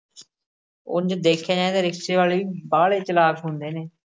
ਉਞ ਦੇਖਿਆ ਜਾਏ ਤੇ ਰਿਕਸ਼ੇ ਵਾਲੇ ਬਾਹਲੇ ਚਲਾਕ ਹੁੰਦੇ ਨੇ।